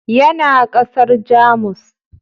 Yana ƙasar Jamus.